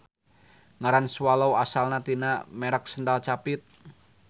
Ngaran swallow asalna tina merek sendal capit.